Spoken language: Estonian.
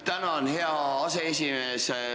Tänan, hea aseesimees!